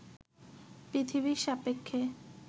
পৃথিবীর সাপেক্ষে